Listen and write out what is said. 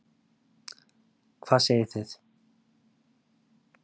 Hvað segið þið?